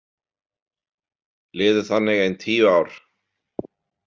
Liðu þannig ein tíu ár.